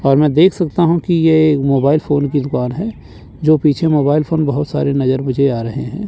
और मैं देख सकता हूँ कि ये मोबाइल फोन की दुकान है जो पीछे मोबाइल फोन बहोत सारे नजर मुझे आ रहें हैं।